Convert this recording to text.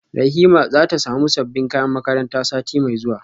Rahima zata samu sabbin kayan makaranta sati mai zuwa